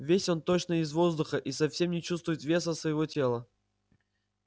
весь он точно из воздуха и совсем не чувствует веса своего тела